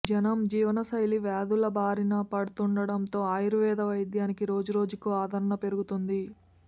జనం జీవన శైలి వ్యాధుల బారినపడుతుండటంతో ఆయుర్వేద వైద్యానికి రోజురోజుకూ ఆదరణ పెరుగుతోంది